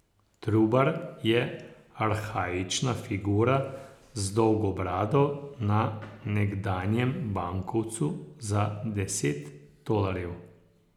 Trubar je arhaična figura z dolgo brado na nekdanjem bankovcu za deset tolarjev.